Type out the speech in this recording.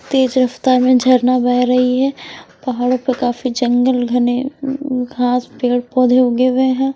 तेज रफ़्तार में झरना बह रही है पहाड़ों पर काफी जंगल घने घास पेड़-पौधे उगे हुए हैं।